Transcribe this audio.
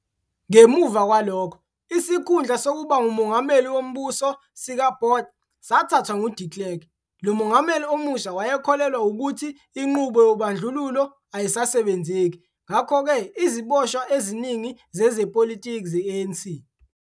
ngemuva kwalokho, isikhundla sokuba ngumongameli wombuso, sikaBotha, sathathwa ngu-de Klerk, lo mongameli omusha wayekholelwa ukuthiinqubo yobandlululo ayisasebenzeki, ngakho-ke iziboshwa eziningi zezepolitiki ze-ANC.